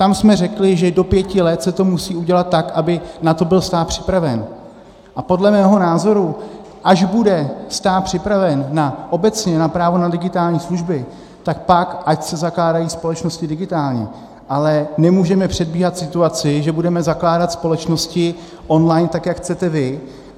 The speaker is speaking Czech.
Tam jsme řekli, že do pěti let se to musí udělat tak, aby na to byl stát připraven, a podle mého názoru, až bude stát připraven obecně na právo na digitální služby, tak pak ať se zakládají společnosti digitálně, ale nemůžeme předbíhat situaci, že budeme zakládat společnosti on-line, tak jak chcete vy.